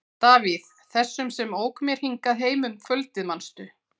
Davíð, þessum sem ók mér hingað heim um kvöldið, manstu?